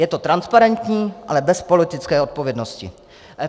Je to transparentní, ale bez politické odpovědnosti.